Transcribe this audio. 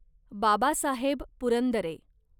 Babasaheb Purandare